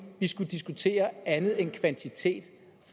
skulle diskutere andet end kvantitet